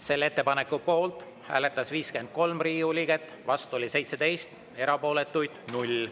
Selle ettepaneku poolt hääletas 53 Riigikogu liiget, vastu oli 17, erapooletuid 0.